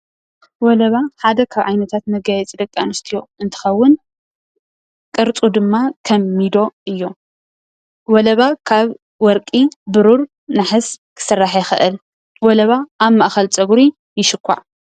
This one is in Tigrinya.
ወለባ ሓደ ካብ ዓይነታታት መጋየፂ ደቂ ኣንስትዮ እንትከውን ቅርፁ ድማ ከም ሚዶ እዩ፡፡ ወለባ ካብ ወርቂ፣ ብሩር፣ ነሓስ ክስራሕ ይክእል፡፡ ወለባ ኣብ ማእከል ፀጉሪ ይሽኳዕ፡፡